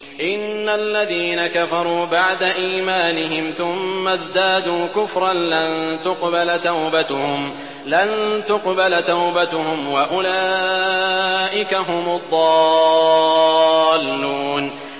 إِنَّ الَّذِينَ كَفَرُوا بَعْدَ إِيمَانِهِمْ ثُمَّ ازْدَادُوا كُفْرًا لَّن تُقْبَلَ تَوْبَتُهُمْ وَأُولَٰئِكَ هُمُ الضَّالُّونَ